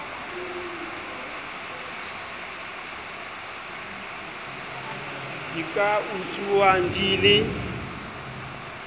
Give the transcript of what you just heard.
di ka etsuwang di le